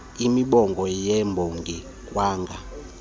imbongi yabonga kwanga